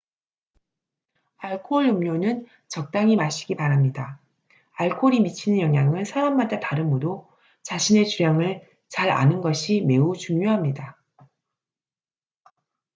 알코올음료는 적당히 마시기 바랍니다 알코올이 미치는 영향은 사람마다 다르므로 자신의 주량을 잘 아는 것이 매우 중요합니다